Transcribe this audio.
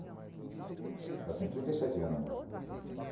Ela tem trinta e sete anos agora.